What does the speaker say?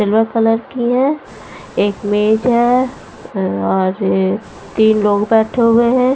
Silver colour की है एक मेज है और तीन लोग बैठे हुए हैं।